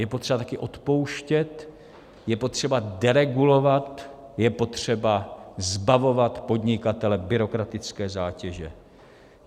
Je potřeba také odpouštět, je potřeba deregulovat, je potřeba zbavovat podnikatele byrokratické zátěže.